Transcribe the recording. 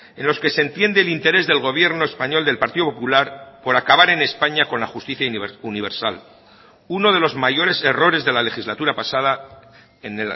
en los que se entiende el interés del gobierno español del partido popular por acabar en españa con la justicia universal uno de los mayores errores de la legislatura pasada en